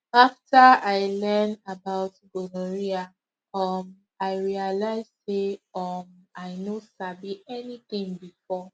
after i learn about gonorrhea um i realize say um i no sabi anything before